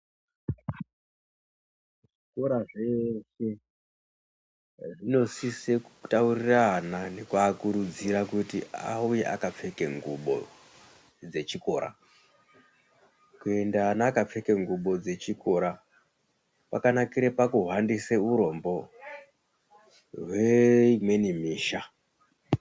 Zvikora zveshe zvinosise kutaurire ana nekuakurudzira kuti auye akapfeke ngubo dzechikora. Kuenda ana akapfeke ngubo dzechikora kwakanakire pakuhwandise hurombo hweimweni misha.